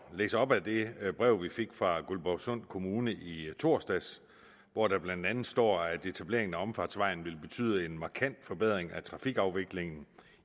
læse op af det brev vi fik fra guldborgsund kommune i torsdags hvor der blandt andet står at etableringen af omfartsvejen vil betyde en markant forbedring af trafikafviklingen